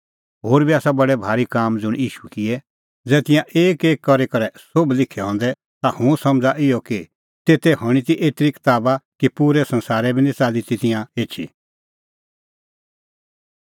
होर बी आसा बडै भारी काम ज़ुंण ईशू किऐ ज़ै तिंयां एक एक करी करै सोभ लिखै हंदै ता हुंह समझ़ा इहअ कि तेते हणीं ती एतरी कताबा कि पूरै संसारै बी निं च़ाल्ली ती तिंयां एछी